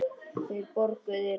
Þeir borguðu þér vel.